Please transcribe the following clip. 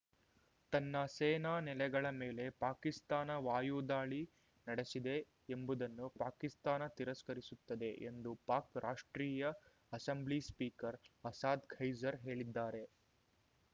ತನ್ನ ಸೇನಾ ನೆಲೆಗಳ ಮೇಲೆ ಪಾಕಿಸ್ತಾನ ವಾಯುದಾಳಿ ನಡೆಸಿದೆ ಎಂಬುದನ್ನು ಪಾಕಿಸ್ತಾನ ತಿರಸ್ಕರಿಸುತ್ತದೆ ಎಂದು ಪಾಕ್ ರಾಷ್ಟ್ರೀಯ ಅಸೆಂಬ್ಲಿ ಸ್ಪೀಕರ್ ಅಸಾದ್ ಖೈಸರ್ ಹೇಳಿದ್ದಾರೆ